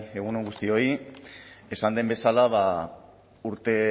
egun on guztioi esan den bezala urte